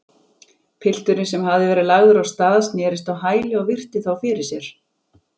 Pilturinn, sem hafði verið lagður af stað, snerist á hæli og virti þá fyrir sér.